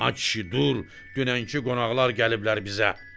Ay kişi dur, dünənki qonaqlar gəliblər bizə.